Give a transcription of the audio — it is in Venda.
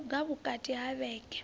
no luga vhukati ha vhege